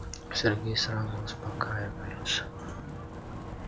сергей сразу успокаивается